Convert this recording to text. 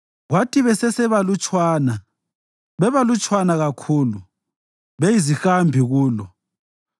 Kwathi besesebalutshwana, bebalutshwana kakhulu, beyizihambi kulo,